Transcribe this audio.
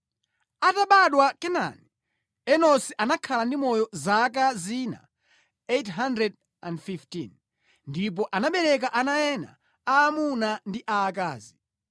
Atabadwa Kenani, Enosi anakhala ndi moyo zaka zina 815 ndipo anabereka ana ena aamuna ndi aakazi.